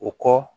O kɔ